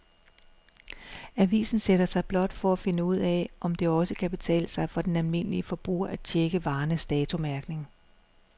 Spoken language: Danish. Avisen sætter sig blot for at finde ud af, om det også kan betale sig for den almindelige forbruger at checke varernes datomærkning.